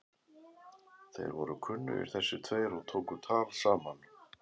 Þeir voru kunnugir þessir tveir og tóku tal saman.